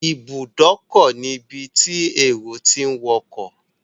Ibùdókọ̀ ni ibi tí èrò tí ń wọkọ̀.